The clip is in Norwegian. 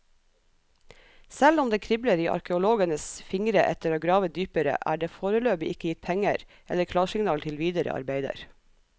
Selv om det kribler i arkeologenes fingre etter å grave dypere, er det foreløpig ikke gitt penger eller klarsignal til videre arbeider.